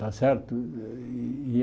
Está certo? E e a